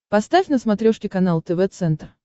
поставь на смотрешке канал тв центр